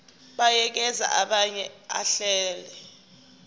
buyekeza abuye ahlele